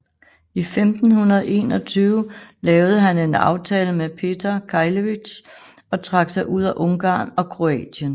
I 1521 lavede han en aftale med Petar Keglević og trak sig ud af Ungarn og Kroatien